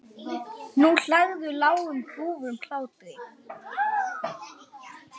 Nú hlærðu, lágum hrjúfum hlátri.